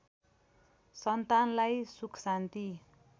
सन्तानलाई सुख शान्ति